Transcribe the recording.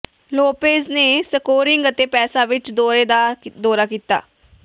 Lopez ਨੇ scoring ਅਤੇ ਪੈਸਾ ਵਿਚ ਦੌਰੇ ਦਾ ਦੌਰਾ ਕੀਤਾ